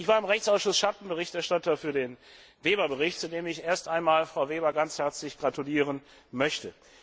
Ich war im Rechtsausschuss Schattenberichterstatter für den Bericht Weber, zu dem ich erst einmal Frau Weber ganz herzlich gratulieren möchte.